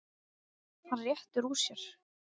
Hann réttir úr sér.